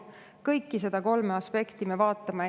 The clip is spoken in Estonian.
Kõiki kolme aspekti me vaatame.